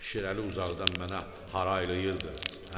Şirəli uzaqdan mənə haraylayırdı: